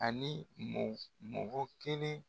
Ani mɔ mɔgɔ kelen.